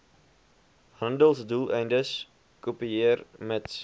handelsdoeleindes kopieer mits